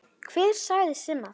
Hver sagði Simma það?